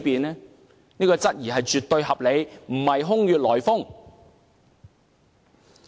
這種懷疑絕對合理，並非空穴來風。